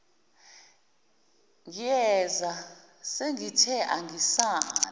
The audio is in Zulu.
ngiyeza sengithe angisale